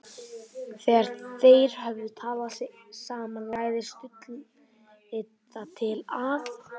Þegar þeir höfðu talað sig saman lagði Stulli það til að